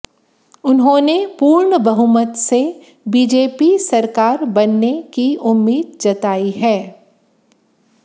उन्होंने पूर्ण बहुमत से बीजेपी सरकार बनने की उम्मीद जताई है